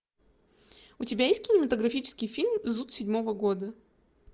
у тебя есть кинематографический фильм зуд седьмого года